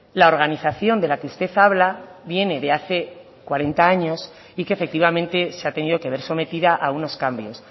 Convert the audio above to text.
la organización de la que usted habla viene de hace cuarenta años y que efectivamente se ha tenido que ver sometida a unos cambios